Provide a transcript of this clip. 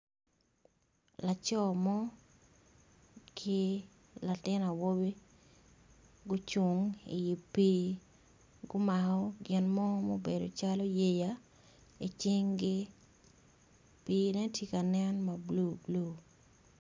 Laco mo ki latin awobi gucung i pi gumako ginmo mubedo calo yeya i cingi pine tye ka nen ma blue blue.